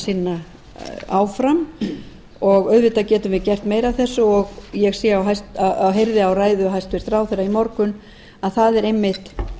sinna áfram auðvitað getum við gert meira af þessu og ég heyrði á ræðu hæstvirts ráðherra í morgun að það er einmitt